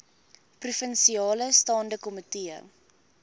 provinsiale staande komitee